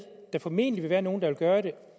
formentlig vil være nogle der vil gøre det